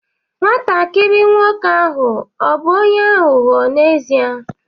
Nwatakịrị nwoke ahụ ọ̀ bụ onye aghụghọ n'ezie?